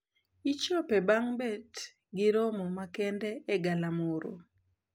Ichope bang` bet gi romo makende e galamoro.